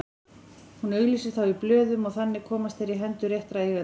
Hún auglýsir þá í blöðunum og þannig komast þeir í hendur réttra eigenda.